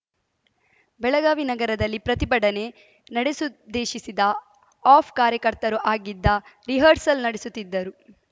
ಬೆಳಗಾವಿ ನಗರದಲ್ಲಿ ಪ್ರತಿಭಡನೆ ನಡೆಸುದ್ದೇಶಿಸಿದ್ದ ಆಫ್ ಕಾರ್ಯಕರ್ತರು ಅದಕ್ಕಾಗಿ ರಿಹರ್ಸಲ್‌ ನಡೆಸುತ್ತಿದ್ದರು